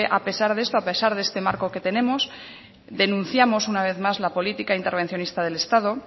a pesar de esto a pesar de este marco que tenemos denunciamos una vez más la política intervencionista del estado